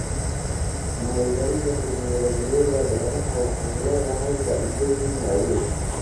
Maalgelinta tignoolajiyada beeraha waxay leedahay faa'iidooyin waaweyn.